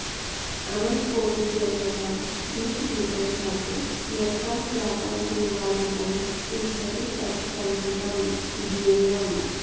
अनन्तकोटिजन्मनां बीजभूतं सत् यत्कर्मजातं पूर्वार्जितं तिष्ठति तत् सञ्चितं ज्ञेयम्